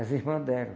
As irmãs deram.